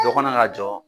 Dɔ kana na jɔ